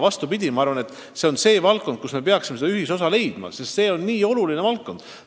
Vastupidi, see on valdkond, mille arendamisel me peaksime leidma ühisosa, sest see on nii oluline valdkond.